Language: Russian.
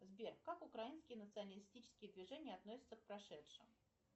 сбер как украинские националистические движения относятся к прошедшим